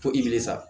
Fo i wele sa